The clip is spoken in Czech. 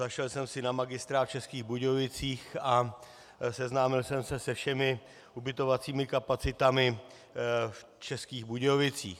Zašel jsem si na Magistrát v Českých Budějovicích a seznámil jsem se se všemi ubytovacími kapacitami v Českých Budějovicích.